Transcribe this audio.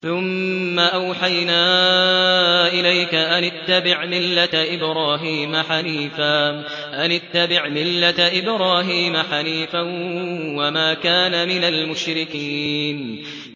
ثُمَّ أَوْحَيْنَا إِلَيْكَ أَنِ اتَّبِعْ مِلَّةَ إِبْرَاهِيمَ حَنِيفًا ۖ وَمَا كَانَ مِنَ الْمُشْرِكِينَ